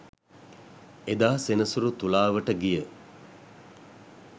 එදා සෙනසුරු තුලාවට ගිය